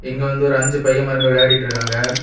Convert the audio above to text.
இங்க வந்து ஒரு அஞ்சு பைய மார்ங்க விளையாடிட்டு இருக்காங்க.